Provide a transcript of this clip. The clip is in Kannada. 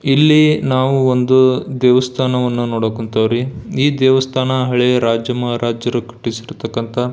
ಇಲ್ಲಿ ನಾವು ಒಂದು ದೇವಸ್ಥಾನವನ್ನು ನೋಡಕ್ ಹೊಂಥಾವ್ ರೀ ಈ ದೇವಸ್ಥಾನ ಹಳೆಯ ರಾಜ ಮಹಾರಾಜರು ಕಟ್ಟಿಸಿರತಕಂತ--